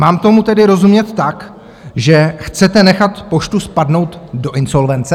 Mám tomu tedy rozumět tak, že chcete nechat Poštu spadnout do insolvence?